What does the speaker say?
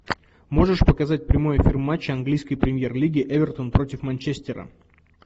можешь показать прямой эфир матча английской премьер лиги эвертон против манчестера